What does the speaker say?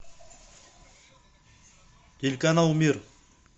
телеканал мир